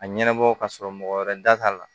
A ɲɛnabɔ ka sɔrɔ mɔgɔ wɛrɛ da t'a la